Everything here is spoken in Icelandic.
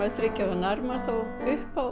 þriggja ára nær maður þá upp á